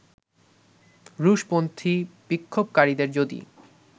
রুশপন্থী বিক্ষোভকারীদের যদি